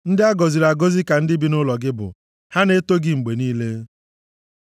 Ndị a gọziri agọzi ka ndị bi nʼụlọ gị bụ; ha na-eto gị mgbe niile. Sela